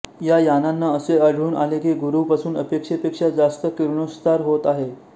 या यानांना असे आढळून आले की गुरूपासून अपेक्षेपेक्षा जास्त किरणोत्सार होत आहे